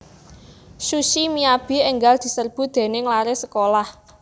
Sushi Miyabi enggal diserbu dening lare sekolah